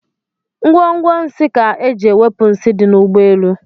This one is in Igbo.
Gwongworo nsi kaa eji ewepu nsi di n'ụgbọelụ